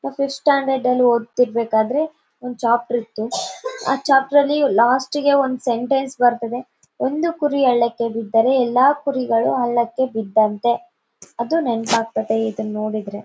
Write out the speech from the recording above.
ನಾವ್ ಫಿಫ್ತ್ ಸ್ಟ್ಯಾಂಡರ್ಡಲ್ಲಿ ಒದ್ತಿರ್ಬೇಕಾದ್ರೆ ಒಂದು ಚಾಪ್ಟರ್ ಇತ್ತು ಆ ಚಾಪ್ಟರ್ ಅಲ್ಲಿ ಲಾಸ್ಟಿಗೆ ಒಂದ್ ಸೆಂಟೆನ್ಸ್ ಬರ್ತದೆ ಒಂದು ಕುರಿ ಹಳ್ಳಕ್ಕೆ ಬಿದ್ದರೆ ಎಲ್ಲಾ ಕುರಿಗಳು ಹಳ್ಳಕ್ಕೆ ಬಿದ್ದಂತೆ ಅದು ನೆನ್ಪ್ ಆಗ್ತಾದೆ ಇದನ್ ನೋಡಿದ್ರೆ .